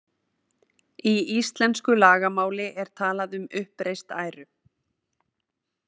Í íslensku lagamáli er talað um uppreist æru.